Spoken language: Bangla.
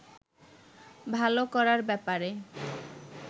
ভালো করার ব্যাপারে